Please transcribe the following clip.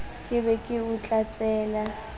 ke be ke o tlatsela